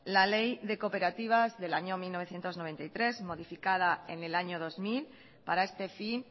la ley de cooperativas del año mil novecientos noventa y tres modificada en el año dos mil para este fin